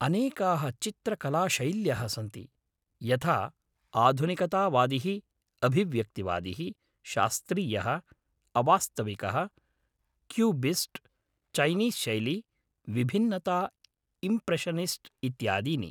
अनेकाः चित्रकलाशैल्यः सन्ति, यथा आधुनिकतावादिः, अभिव्यक्तिवादिः, शास्त्रीयः, अवास्तविकः, क्यूबिस्ट्, चैनीस् शैली, विभिन्नता, इम्प्रेशनिस्ट् इत्यादीनि।